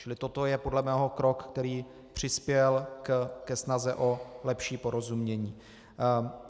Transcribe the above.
Čili toto je podle mého krok, který přispěl ke snaze o lepší porozumění.